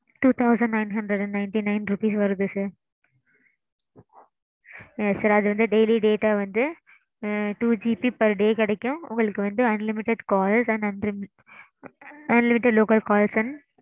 two thousand nine hundred and ninety nine rupees வருது sir. sir அது வந்து daily data வந்து twoGBper day கிடைக்கும். உங்களுக்கு வந்து unlimited calls and unlimited local calls and